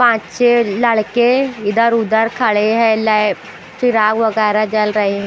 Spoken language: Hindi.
पाँच छे लड़के इधर उधर खड़े हैं लै प्रा वगैरा जल रही--